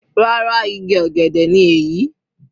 Rárá igi ọ̀gẹ̀dẹ̀ ni èyí.